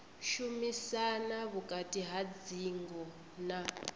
shumisana vhukati ha dzingo na